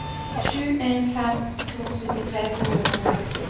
sju en fem to syttitre to hundre og seksti